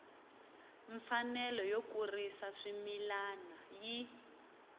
mfanelo yo kurisa swimila yi